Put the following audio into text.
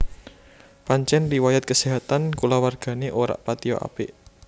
Pancen riwayat keséhatan kulawargane ora patiya apik